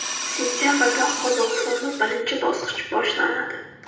Sentabrda Qozog‘istonda birinchi bosqich boshlanadi.